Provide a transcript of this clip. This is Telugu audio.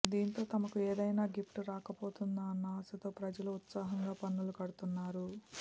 దీంతో తమకు ఏదైనా గిఫ్ట్ రాకపోతుందా అన్న ఆశతో ప్రజలు ఉత్సాహంగా పన్నులు కడ్తున్నారు